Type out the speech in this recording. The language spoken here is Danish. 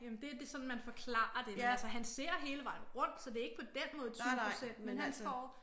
Jamen det det sådan man forklarer det men altså han ser hele vejen rundt så det ikke på den måde 20 procent men han får